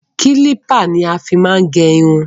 Kílípà ni a fí máa ń gẹ irun.